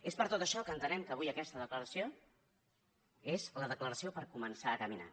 és per tot això que entenem que avui aquesta declaració és la declaració per començar a caminar